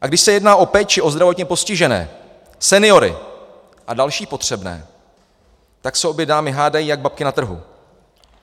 A když se jedná o péči o zdravotně postižené, seniory a další potřebné, tak se obě dámy hádají jak babky na trhu.